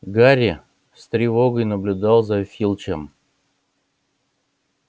гарри с тревогой наблюдал за филчем